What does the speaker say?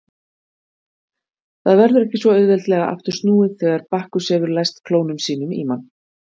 Það verður ekki svo auðveldlega aftur snúið þegar Bakkus hefur læst klónum sínum í mann.